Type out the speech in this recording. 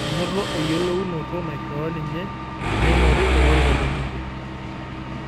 Enoto eyiolounoto naishoo ninye meing'oru olorika le bunge